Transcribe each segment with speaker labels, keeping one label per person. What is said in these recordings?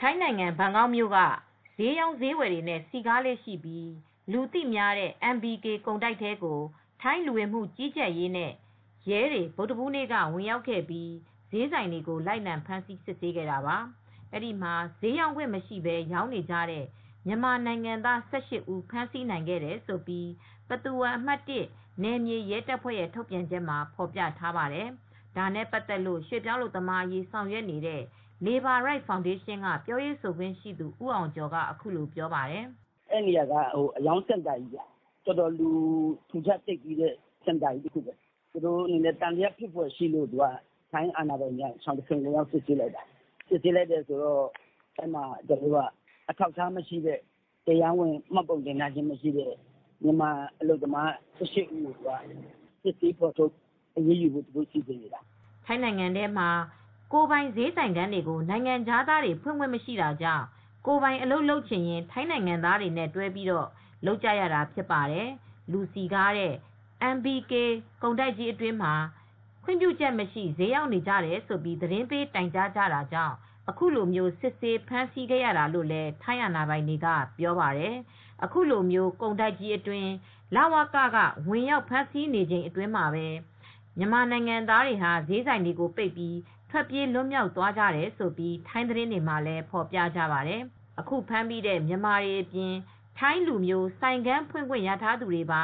Speaker 1: ထိုင်းနိုင်ငံ ဘန်ကောက်မြို့က ဈေးရောင်း ဈေးဝယ်တွေနဲ့ စည်ကားလေ့ရှိပြီး လူသိများတဲ့ MBK ကုန်တိုက်ထဲကို ထိုင်းလူဝင်မှုကြီးကြပ်ရေးနဲ့ ရဲတွေ ဗုဒ္ဓဟူးနေ့က ဝင်ရောက်ပြီး ဈေးဆိုင်တွေကို လိုက်လံစစ်ဆေးခဲ့တာပါ။ အဲဒီမှာ ဈေးရောင်းခွင့် မရှိပဲ ရောင်းနေကြတဲ့ မြန်မာနိုင်ငံသား ၁၈ ဦး ဖမ်းဆီးနိုင်ခဲ့တယ်လို့ ပသူဝမ် အမှတ် ၁ နယ်မြေ ရဲတပ်ဖွဲ့ ထုတ်ပြန်ချက်မှာဖေါ်ပြထားပါတယ်။ ဒါနဲ့ပတ်သက်လို့ ရွှေ့ပြောင်းအလုပ်သမားအရေးဆောင်ရွက်နေ့တဲ့ Labour Right Foundation က ပြောရေးဆိုခွင့်ရှိသူ ဦးအောင်ကျော်က အခုလိုပြောပါတယ်။ "
Speaker 2: အဲဒီနေရာက အရောင်းစင်တာကြီးခင်ဗျ အတော်ကိုလူတွေ စျေးဝယ်တွေ ထူထပ် သိပ်သည်းတဲ့စင်တာကြီးဖြစ်ပါတယ်။ သူတို့အနေနဲ့ သံသယရှိလို့ ထိုင်းအာဏာပိုင်တွေက ရှောင်တခင် ဝင်ရောက်စစ်ဆေးလိုက်တာ တရားမဝင်တဲ့ မြန်မာအလုပ်သမား ၁၈ ယောက်ကို စစ်ဆေးဖော်ထုတ်ပြီး အရေးယူဖို့လုပ်တာပါ
Speaker 1: " ထိုင်းနိုင်ငံမှာ ကိုယ်ပိုင် ဈေးဆိုင်ခန်းတွေကို နိုင်ငံခြားသားတွေ ဖွင့်ခွင့်မရှိတာကြောင့် ကိုယ်ပိုင်အလုပ်လုပ်ချင်ရင် ထိုင်းနိုင်ငံသားတွေနဲ့ တွဲပြီးလုပ်ကြရတာဖြစ်ပါတယ်။ လူစည်ကားတဲ့ MBK ကုန်တိုက်ကြီးအတွင်းမှာ ခွင့်ပြုချက်မရှိ ဈေးရောင်းနေကြတယ်လို့ သတင်းပေးတိုင်ကြားတာကြောင့် အခုလိုစစ်ဆေး ဖမ်းဆီးခဲ့ရတာလို့ ထိုင်းအာဏာပိုင်တွေက ပြောပါတယ် ။အခုလို ကုန်တိုက်ကြီးအတွင်း လဝက ဝင်ရောက်ဖမ်းဆီးခဲ့စဉ်အချိန်မှာပဲ တချို့ မြန်မာနိုင်ငံသားတွေဟာ ဈေးဆိုင်တွေပိတ်ပြီး ထွက်ပြေးလွတ်မြောက်သွားကြတယ်လို့ ထိုင်းသတင်းမှာဖေါ်ပြပါတယ်။ အခုဖမ်းမိတဲ့မြန်မာတွေအပြင် ထိုင်းလူမျိုးဆိုင်ခန်းဖွင့်ခွင့် ရထားသူတွေပါ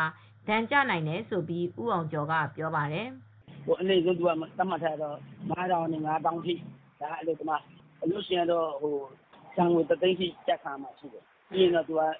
Speaker 1: ဒဏ်ကျနိုင်တယ်လို့ ဦးအောင်ကျော်ကပြောပါတယ်။ "အနိမ့်ဆုံးကတော့ ဘတ် ၅ ထောင်ကနေ ၅ သောင်းထိက အလုပ်သမားက ကျခံရမှာပါ။ အလုပ်ရှင်ကတော့
Speaker 2: ဘတ်တသိန်းလောက်ထိ
Speaker 1: ကျခံရမှာဖြစ်ပါတယ်။ အလုပ်သမား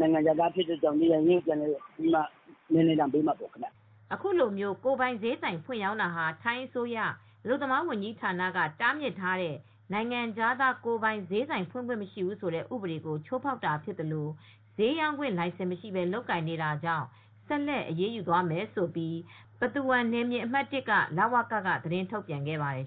Speaker 1: က
Speaker 2: နိုင်ငံခြားသားဖြစ်တဲ့အတွက် နေရပ်ရင်းကိုပြန်ဖို့ ပြည်နှင်ဒဏ်ပေးခံရမှာပါ
Speaker 1: " အခုလို ကိုယ်ပိုင်ဈေးဆိုင်ဖွင့်ရောင်းတာဟာ ထိုင်းအစိုးရ အလုပ်သမားဝန်ကြီးဌာနက တားမြစ်ထားတဲ့ နိုင်ငံခြားသား ကိုယ်ပိုင် ဈေးဆိုင်ဖွင့်ခွင့်မရှိဘူးဆိုတဲ့ဥပဒေကို ချိုးဖောက်တာဖြစ်သလို၊ စျေးရောင်ခွင့် လိုင်စင်မရှိပဲ လုပ်ကိုင်နေတာကြောင့် ဆက်လက်အရေးယူမယ်လို့ ပသူဝမ် Pathumwan နယ်မြေအမှတ် (၁) လ၀က သတင်းထုတ်ပြန်ခဲ့ပါတယ်